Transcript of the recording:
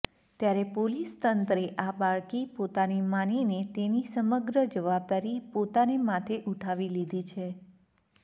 ત્યારે પોલીસ તંત્રએ આ બાળકી પોતાની માનીને તેની સમગ્ર જવાબદારી પોતાને માથે ઉઠાવી લીધી છે